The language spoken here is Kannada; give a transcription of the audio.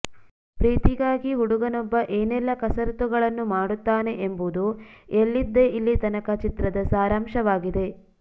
ಪ್ರೀತಿಗಾಗಿ ಹುಡುಗನೊಬ್ಬ ಏನೆಲ್ಲಾ ಕಸರತ್ತುಗಳನ್ನು ಮಾಡುತ್ತಾನೆ ಎಂಬುದು ಎಲ್ಲಿದ್ದೆ ಇಲ್ಲೀತನಕ ಚಿತ್ರದ ಸಾರಾಂಶವಾಗಿದೆ